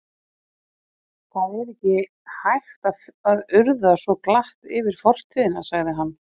Það er ekki hægt að urða svo glatt yfir fortíðina sagði hann.